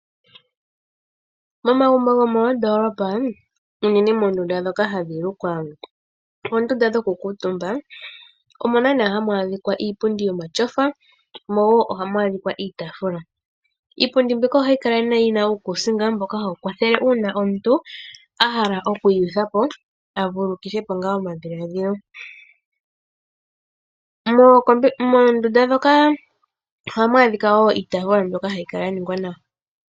Momagumbo gomoondoolopa unene moondunda ndhoka hadhi lukwa oondunda dhoku kuutumba omuna iipundi yomatyofa mo woo ohamu adhika iitafula. Iipundi mbika ohayi kala yina uukusinga mboka hawu kwathele uuna omuntu ahala oku ikwathele avalulukithepo ngaa omadhiladhilo . Moondunda ndhoka ohamu adhika woo iitaafula mbyoka hayi kala ya ningwa nawa.